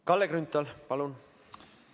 Kalle Grünthal, palun!